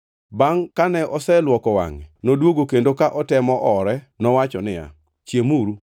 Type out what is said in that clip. Bangʼ kane oseluoko wangʼe, noduogo kendo ka otemo oore nowacho niya, “Chiemuru.”